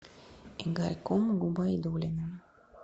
игорьком губайдуллиным